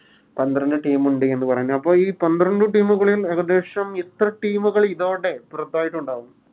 പന്ത്രണ്ട് Team ഉണ്ട് എന്ന് പറഞ്ഞ്ണ്ട് അപ്പൊ ഈ പന്ത്രണ്ട് Team കളിൽ ഏകദേശം ഇത്ര Team കള് ഇതോടെ പുറത്തായിട്ടുണ്ടാവും